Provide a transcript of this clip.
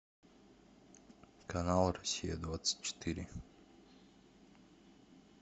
канал россия двадцать четыре